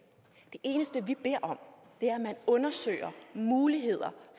det eneste vi beder om er at man undersøger muligheder